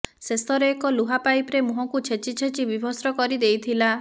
ଶେଷରେ ଏକ ଲୁହା ପାଇପରେ ମୁହଁକୁ ଛେଚି ଛେଚି ବୀଭତ୍ସ କରି ଦେଇଥିଲା